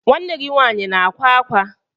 Nwanne gi nwanyi na akwa akwa?